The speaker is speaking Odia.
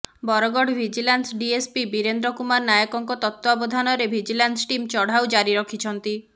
ବରଗଡ଼ ଭିଜିଲାନ୍ସ ଡିଏସ୍ପି ବୀରେନ୍ଦ୍ର କୁମାର ନାୟକଙ୍କ ତତ୍ତ୍ୱାବଧାନରେ ଭିଜିଲାନ୍ସ ଟିମ ଚଢ଼ାଉ ଜାରି ରଖିଛନ୍ତି